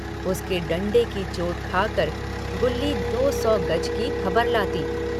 उसके डण्डे की चोट खाकर गुल्ली दो सौ गज की खबर लाती।